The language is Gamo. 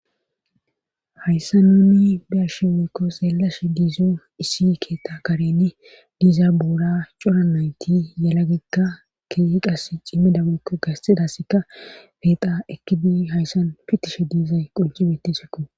hayssa nuni biarshe wikko seelashe diizo iisi keeta karen diiza buura cora nayti yalagegka keeiqas cimmida mokko gassidaseka feexa ekidi hayssan fittishe diiza qoncibetesekko